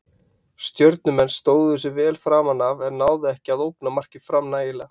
Stjörnumenn stóðu sig vel framan af en náðu ekki að ógna marki Fram nægilega.